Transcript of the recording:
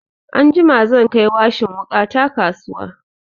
Anjima zan kai washin wuƙa na kasuwa.